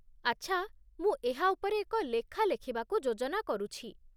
ଆଚ୍ଛା, ମୁଁ ଏହା ଉପରେ ଏକ ଲେଖା ଲେଖିବାକୁ ଯୋଜନା କରୁଛି।